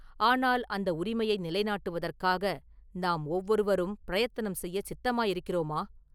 ஆனால் அந்த உரிமையை நிலைநாட்டுவதற்காக நாம் ஒவ்வொருவரும் பிரயத்தனம் செய்யச் சித்தமாயிருக்கிறோமா?